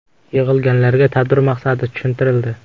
Yig‘ilganlarga tadbir maqsadi tushuntirildi.